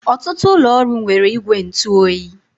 Ọtụtụ ụlọ ọrụ nwere igwe ntụ oyi.